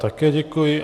Také děkuji.